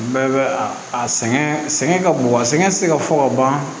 Bɛɛ bɛ a sɛgɛn sɛgɛn ka bon a sɛgɛn ti se ka fɔ ka ban